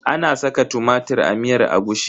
Ana saka tumatir a miyar agushi?